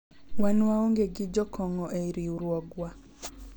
wan waonge gi jokong'o e riwruogwa